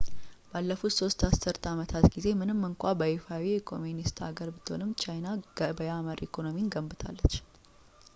ባለፉት ሦስት አስርተ አመታት ጊዜ ምንም እንኳን በይፋ የኮሚኒስት ሀገር ብትሆንም ቻይና ገበያ መር ኢኮኖሚን ገንብታለች